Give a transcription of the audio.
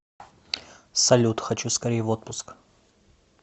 салют хочу скорей в отпуск